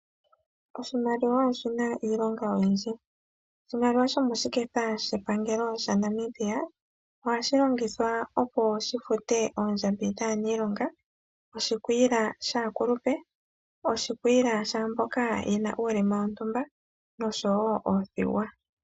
Oshimaliwa oshina iilonga oyindji. Oshimaliwa shomoshiketha shepangelo shaNamibia ohashi longithwa opo shi fute oondjambi dhaaniilonga, okugandja oshikwiila shaakulupe nenge shaamboka yena uulema wontumba nosho woo oothigwa.